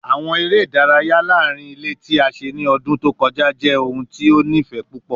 Awọn ere idaraya laarin ile ti a ṣe ni ọdun to kọja jẹ ohun ti o nifẹ pupọ